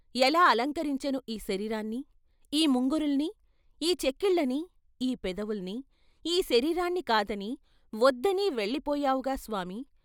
ఎలా అలంకరించను ఈ శరీరాన్ని, ఈ ముంగురుల్ని, ఈ చెక్కిళ్ళని, ఈ పెదవుల్ని, ఈ శరీరాన్ని కాదని, వొద్దని వెళ్ళి పోయావుగా స్వామీ?